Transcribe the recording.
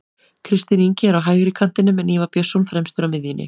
Kristinn Ingi er á hægri kantinum en Ívar Björnsson fremstur á miðjunni.